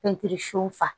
Pɛntiri sufa